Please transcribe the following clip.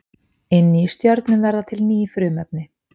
Inni í stjörnum verða til ný frumefni.